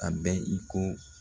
A bɛ i ko